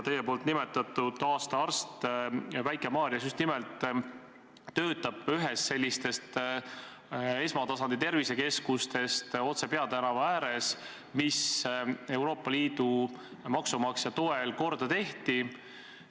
Teie nimetatud aasta arst töötab Väike-Maarjas just nimelt ühes sellistest esmatasandi tervisekeskustest, otse peatänava ääres, mis Euroopa Liidu maksumaksja toel korda tehti.